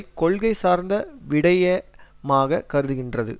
கொள்கை சார்ந்த விடைய மாக கருதுகின்றது